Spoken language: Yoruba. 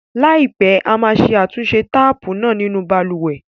Láìpẹ́, a máa ṣe àtúnṣe táàpù náà nínú balùwẹ̀.